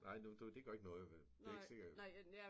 Nej nu du det gør ikke noget det er ikke sikkert